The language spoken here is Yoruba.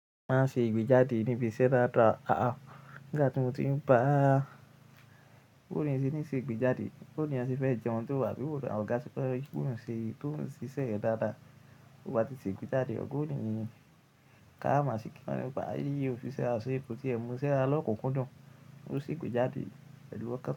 Má ṣe gbéjáde níbi iṣẹ́ dáadáa. Àá, nígbà tí mo ti ń bá kúrò níbí ṣe ìgbéjáde, bó ní eeyan se fẹ́ jẹun tó bà bíbo dà, ọ̀gá ti fẹ́ kúrò ṣe, tó ń ṣiṣẹ́ dáadáa. Ó bá ti ṣe ìgbéjáde, ò ní ní ká má sì kí wọ́n. Bá yíi ò fi ṣẹ́ àṣẹ ko tí ẹ mo sẹ̀ lọ́kùnkúndùn. Ó ṣe ìgbéjáde pẹ̀lú ọkọ̀.